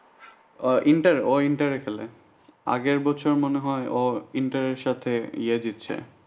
Inter এ ও inter এ খেলে আগের বছর মনে হয় ও inter এর সাথে ইয়ে দিচ্ছে।